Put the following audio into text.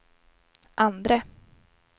andre